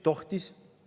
Tohtis!